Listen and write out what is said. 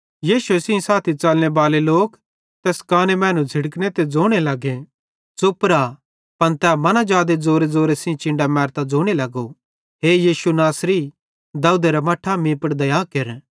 यीशुए सेइं साथी च़लने बाले लोक तैस काने मैनू झ़िड़कने ते ज़ोने लग्गे च़ुप रा पन तै मना जादे ज़ोरेज़ोरे चिन्डां मैरतां ज़ोने लगो हे यीशु नासरी दाऊदेरे मट्ठा मीं पुड़ दया केर